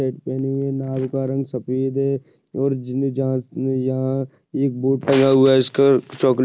पहने हुए है। नाव का रंग सफेद है। और जीने जहाज से यहाँ एक बोट लगा हुआ है। इसका चॉकलेट --